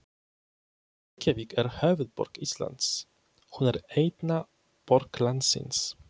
Reykjavík er höfuðborg Íslands. Hún er eina borg landsins.